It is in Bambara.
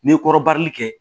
N'i ye kɔrɔbali kɛ